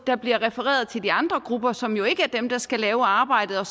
der bliver refereret til de andre grupper som jo ikke er dem der skal lave arbejdet og